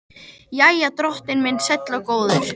Jæja, drottinn minn sæll og góður.